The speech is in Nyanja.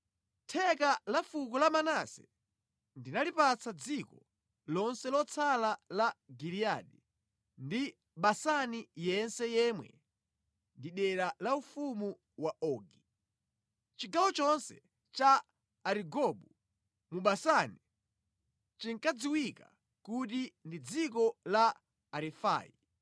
Theka la fuko la Manase ndinalipatsa dziko lonse lotsala la Giliyadi ndi Basani yense yemwe ndi dera la ufumu wa Ogi. (Chigawo chonse cha Arigobu mu Basani chinkadziwika kuti ndi dziko la Arefai.